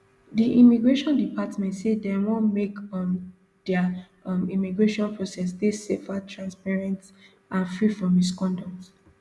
di immigration department say dem want make um dia um immigration process dey safer transparent and free from misconduct